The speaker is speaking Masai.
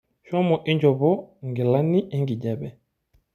Shomo inchopo nkilani enkijape.